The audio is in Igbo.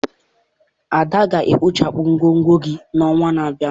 Ada ga-ekpochapụ ngwongwo gị n'ọnwa na-abịa.